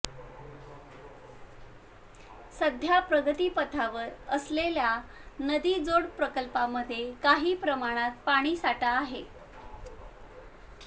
सध्या प्रगतिपथावर असलेल्या नदीजोड प्रकल्पांमध्ये काही प्रमाणात पाणीसाठा आहे